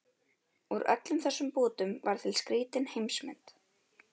Úr öllum þessum bútum varð til skrýtin heimsmynd